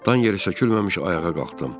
Dan yeri sökülməmiş ayağa qalxdım.